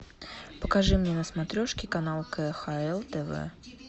покажи мне на смотрешке канал кхл тв